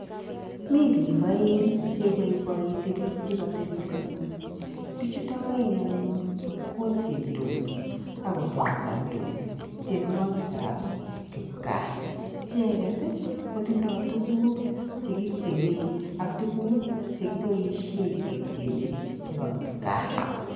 Mi bik aeng cheiboiboiti bik che katebiso ng'ony, bichutok aeng' anyun kotiendos ak kotansandos tienwokikab kipkaa. Icheget kotindo tuguk che kityenee ak tuguk che kiboishee ketyenee chebo kipkaa.